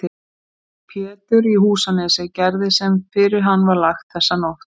Pétur í Húsanesi gerði sem fyrir hann var lagt þessa nótt.